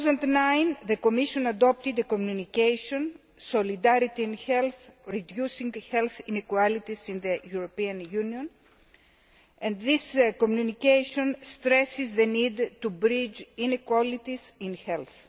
2009. the Commission adopted a communication on Solidarity and health reducing health inequalities in the European Union' and this communication stresses the need to bridge inequalities in health.